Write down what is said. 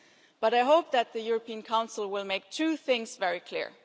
But I hope that the European Council will make two things very clear.